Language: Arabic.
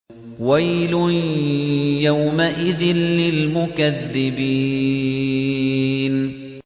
وَيْلٌ يَوْمَئِذٍ لِّلْمُكَذِّبِينَ